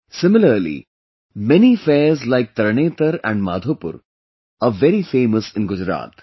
Similarly, many fairs like Tarnetar and Madhopur are very famous in Gujarat